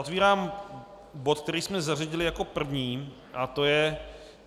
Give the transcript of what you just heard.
Otevírám bod, který jsme zařadili jako první, a to je